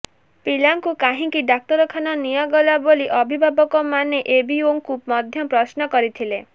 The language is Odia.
ପିଲାଙ୍କୁ କାହିଁକି ଡାକ୍ତରଖାନା ନିଆଗଲା ବୋଲି ଅଭିଭାବକମାନେ ଏବିଇଓଙ୍କୁ ମଧ୍ୟ ପ୍ରଶ୍ନ କରିଥିଲେ